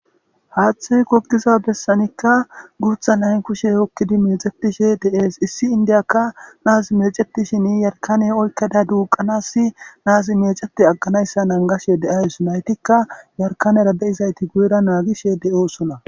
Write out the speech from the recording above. Hathey gogiza besanika issi gutha nay kushe hokid mecetishe de'es, issi indiyaka nas mecetishn yarkane oykada duuqanas nazi mecet aganaysa nanigashe de'awus,naytika yarkanera de'izayt guyera nangishe dosona .